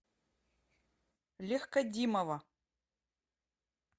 легкодимова